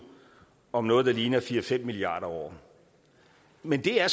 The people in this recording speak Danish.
om noget der ligner fire fem milliarder år men det er